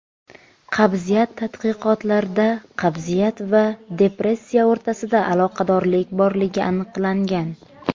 Qabziyat Tadqiqotlarda qabziyat va depressiya o‘rtasida aloqadorlik borligi aniqlangan.